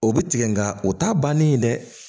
O bɛ tigɛ nka o t'a bannen ye dɛ